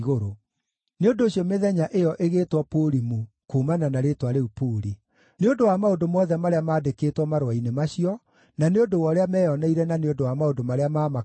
(Nĩ ũndũ ũcio mĩthenya ĩyo ĩgĩtwo Purimu kuumana na rĩĩtwa rĩu Puri.) Nĩ ũndũ wa maũndũ mothe marĩa maandĩkĩtwo marũa-inĩ macio, na nĩ ũndũ wa ũrĩa meyoneire na nĩ ũndũ wa maũndũ marĩa maamakorire,